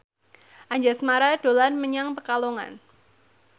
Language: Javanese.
Anjasmara dolan menyang Pekalongan